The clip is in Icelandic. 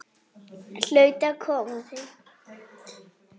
Hlaut að koma að því.